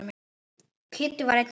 Kiddi var einn þeirra.